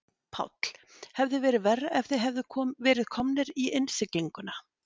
Páll: Hefði verið verra ef þið hefðuð verið komnir í innsiglinguna?